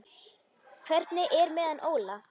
Hvernig er með hann Óla?